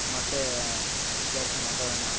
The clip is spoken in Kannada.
ಮತ್ತೆ ವಿಚಾರ್ಸಿ ಮಾತಾಡಣ .